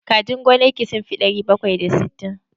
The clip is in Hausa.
Kajin gonar ki sun fi ɗari bakwai da sittin?